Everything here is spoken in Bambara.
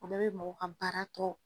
O de be mɔgɔw ka baara tɔ